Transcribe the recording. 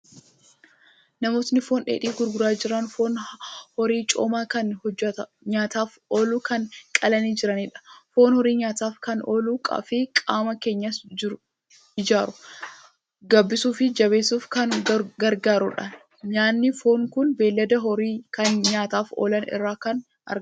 Namoota foon dheedhii gurguraa jiran. Foon horii coomaa kan nyaataaf oolu kan qalanii jiranidha. Foon horii nyaataaf kan ooluu fi qaama keenyas ijaaruu, gabbisuu fi jabeessuuf kan gargaarudha. Nyaanni foonii kun beelada horii kan nyaataaf oolan irraa kan argamudha.